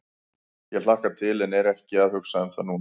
Ég hlakka til en er ekki að hugsa um það núna.